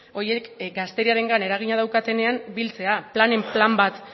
horiek gazteriarengan eragina daukatenean biltzea planen plan bat